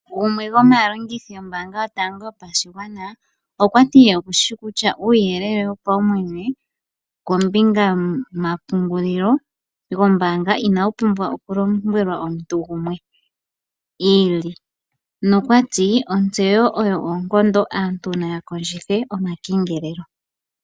Gumwe gomaalongithi yombaanga yotango yopashigwana okwa ti ye okushi shi kutya uuyelele wopaumwene kombinga yomapungulilo gombaanga inawu pumbwa okulombwelwa omuntu gumwe i ili. Nokwati ontseyo oyo uunkoondo aantu naya kondjithe omakengelelo.